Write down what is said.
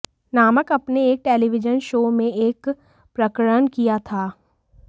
नामक अपने एक टेलीविजन शो में एक प्रकरण किया था